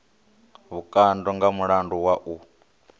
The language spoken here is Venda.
vhukando nga mulandu wa u